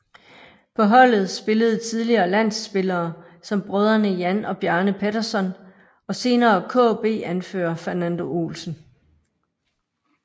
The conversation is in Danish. På holdet spillede tidligere landspillere som brødrene Jan og Bjarne Pettersson og senere KB anfører Fernando Olsen